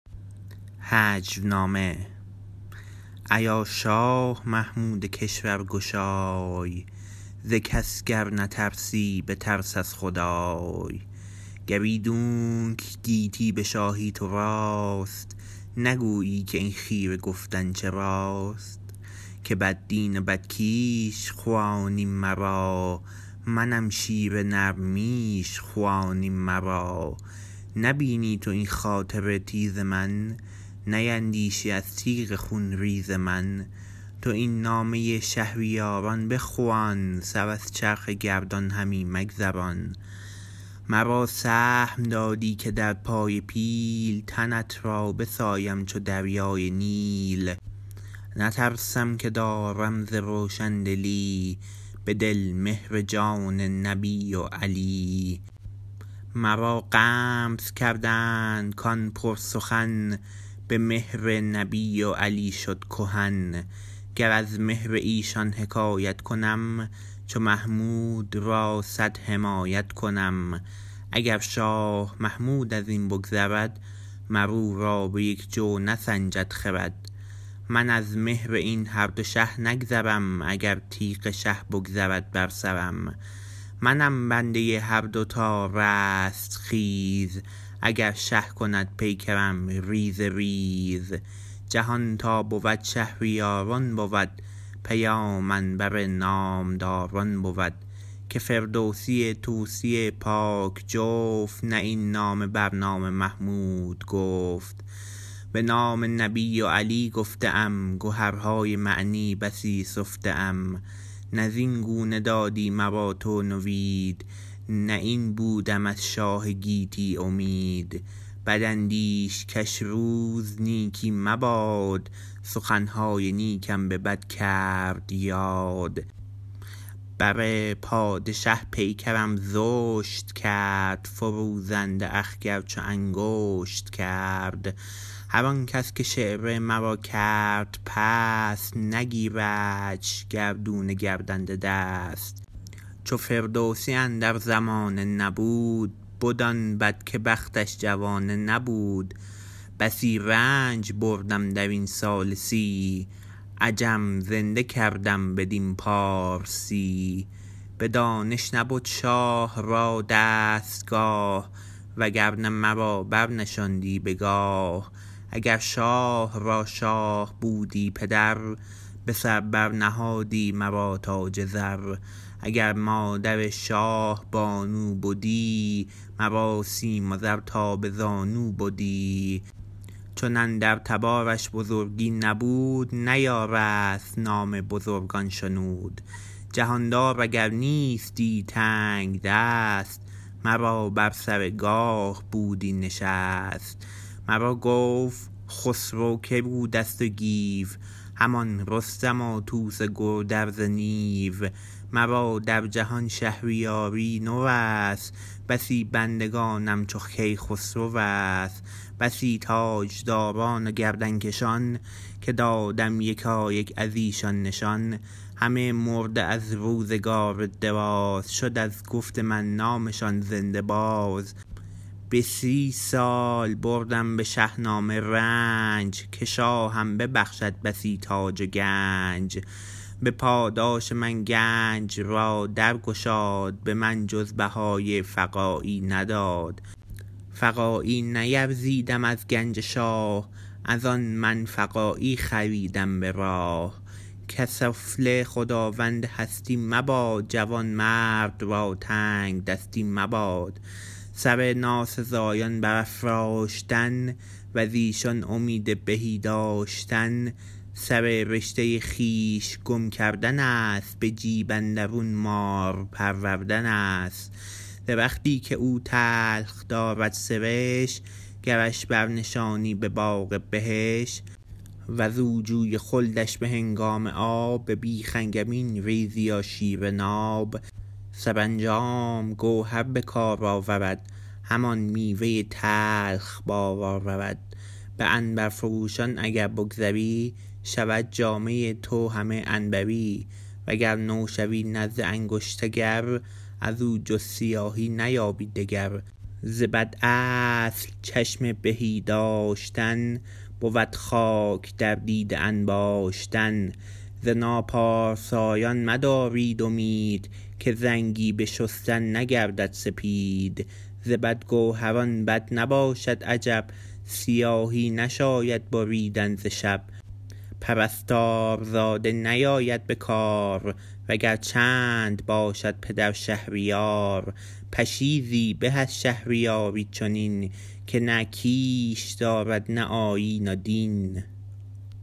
نظامی عروضی در کتاب چهار مقاله آورده که چون فردوسی از ناچیزی صله سلطان محمود غزنوی رنجید از غزنه گریخت و به طبرستان نزد سپهبد شهریار از آل باوند رفت و محمود را هجا گفت اما به خواست سپهبد آن هجونامه را نابود کرد و تنها شش بیت از آن باقی ماند که نظامی عروضی آن را در چهار مقاله نقل کرده است اما ادبای امروزی عموما به دلایل مختلف از سستی ابیات در دست رس از هجونامه و ناهمخوانی آن با زبان فردوسی گرفته تا ناهمخوانی تعداد ابیات آن با گزارش نظامی عروضی در انتساب این ابیات به فردوسی تردید کرده اند آن را جعلی دانسته اند و آن را از آن فردوسی و در شأن او ندانسته اند با این حال از آن جا که بعضی از ابیات مندرج در این هجونامه از جمله بیت معروف بسی رنج بردم در این سال سی / عجم زنده کردم بدین پارسی به غلط یا درست به نام حکیم طوس معروف است و بر سر زبان هاست جهت اطلاع دوستان از تردید در انتساب این ابیات به فردوسی آن را به عنوان پیوست شاهنامه به گنجور اضافه کردیم دوستان علاقمند به مطالعه بیش تر در این زمینه می توانند به مقاله با هجونامه چه باید کرد به قلم استاد جلال خالقی مطلق مندرج در شماره ۱۱۵ مجله بخارا مراجعه کنند ایا شاه محمود کشورگشای ز کس گر نترسی بترس از خدای گر ایدون که گیتی به شاهی تو راست نگویی که این خیره گفتن چراست که بددین و بدکیش خوانی مرا منم شیر نر میش خوانی مرا نبینی تو این خاطر تیز من نیندیشی از تیغ خون ریز من تو این نامه شهریاران بخوان سر از چرخ گردان همی مگذران مرا سهم دادی که در پای پیل تنت را بسایم چو دریای نیل نترسم که دارم ز روشن دلی به دل مهر جان نبی و علی مرا غمز کردند کآن پر سخن به مهر نبی و علی شد کهن گر از مهر ایشان حکایت کنم چو محمود را صد حمایت کنم اگر شاه محمود از این بگذرد مر او را به یک جو نسنجد خرد من از مهر این هر دو شه نگذرم اگر تیغ شه بگذرد بر سرم منم بنده هر دو تا رستخیز اگر شه کند پیکرم ریزه ریز جهان تا بود شهریاران بود پیامم بر نام داران بود که فردوسی طوسی پاک جفت نه این نامه بر نام محمود گفت به نام نبی و علی گفته ام گهرهای معنی بسی سفته ام نه زین گونه دادی مرا تو نوید نه این بودم از شاه گیتی امید بداندیش کش روز نیکی مباد سخن های نیکم به بد کرد یاد بر پادشه پیکرم زشت کرد فروزنده اخگر چون انگشت کرد هر آن کس که شعر مرا کرد پست نگیردش گردون گردنده دست چو فردوسی اندر زمانه نبود بد آن بد که بختش جوانه نبود بسی رنج بردم در این سال سی عجم زنده کردم بدین پارسی به دانش نبد شاه را دستگاه و گر نه مرا برنشاندی به گاه اگر شاه را شاه بودی پدر به سر بر نهادی مرا تاج زر اگر مادر شاه بانو بدی مرا سیم و زر تا به زانو بدی چون اندر تبارش بزرگی نبود نیارست نام بزرگان شنود جهان دار اگر نیستی تنگ دست مرا بر سر گاه بودی نشست مرا گفت خسرو که بوده است و گیو همان رستم و طوس و گودرز نیو مرا در جهان شهریاری نو است بسی بندگانم چو کی خسرو است بسی تاج داران و گردن کشان که دادم یکایک از ایشان نشان همه مرده از روزگار دراز شد از گفت من نامشان زنده باز به سی سال بردم به شه نامه رنج که شاهم ببخشد بسی تاج و گنج به پاداش من گنج را در گشاد به من جز بهای فقاعی نداد فقاعی نیرزیدم از گنج شاه از آن من فقاعی خریدم به راه که سفله خداوند هستی مباد جوان مرد را تنگ دستی مباد سر ناسزایان بر افراشتن وز ایشان امید بهی داشتن سر رشته خویش گم کردن است به جیب اندرون مار پروردن است درختی که او تلخ دارد سرشت گرش برنشانی به باغ بهشت وز او جوی خلدش به هنگام آب به بیخ انگبین ریزی و شیر ناب سرانجام گوهر به کار آورد همان میوه تلخ بار آورد به عنبرفروشان اگر بگذری شود جامه تو همه عنبری و گر نو شوی نزد انگشت گر از او جز سیاهی نیابی دگر ز بد اصل چشم بهی داشتن بود خاک در دیده انباشتن ز ناپارسایان مدارید امید که زنگی به شستن نگردد سپید ز بد گوهران بد نباشد عجب سیاهی نشاید بریدن ز شب پرستارزاده نیاید به کار و گر چند باشد پدر شهریار پشیزی به از شهریاری چنین که نه کیش دارد نه آیین و دین